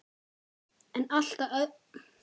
En að allt öðru!